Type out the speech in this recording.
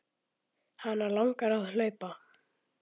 Hana langar að hlaupa.